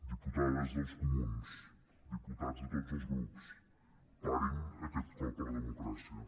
diputades dels comuns diputats de tots els grups parin aquest cop a la democràcia